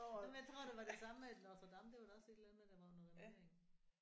Jamen jeg tror det var det samme med Notre Dame da var da også et eller andet der var under renovering